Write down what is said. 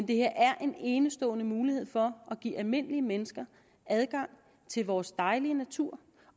det her er en enestående mulighed for at give almindelige mennesker adgang til vores dejlige natur